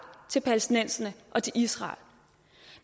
til palæstinenserne og til israel